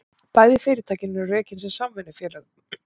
Bæði fyrirtækin eru rekin sem samvinnufélög